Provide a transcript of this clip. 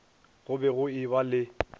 go be go eba le